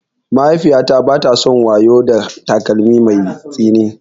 Mahaifiyata bata son wayo da takalmin mai tsini.